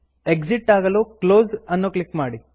exit ಆಗಲು close ಅನ್ನು click ಮಾಡಿ